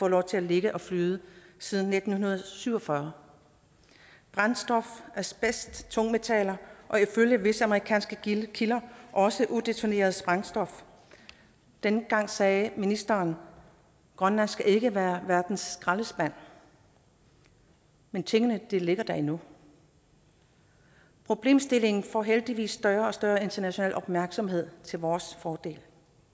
lov til at ligge og flyde siden nitten syv og fyrre brændstof asbest tungmetaller og ifølge visse amerikanske kilder også udetoneret sprængstof dengang sagde ministeren grønland skal ikke være verdens skraldespand men tingene ligger der endnu problemstillingen får heldigvis større og større international opmærksomhed til vores fordel